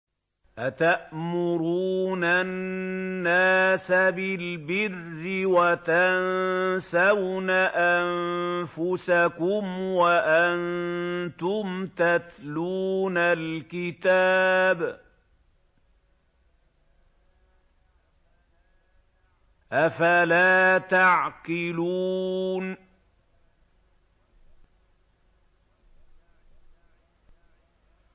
۞ أَتَأْمُرُونَ النَّاسَ بِالْبِرِّ وَتَنسَوْنَ أَنفُسَكُمْ وَأَنتُمْ تَتْلُونَ الْكِتَابَ ۚ أَفَلَا تَعْقِلُونَ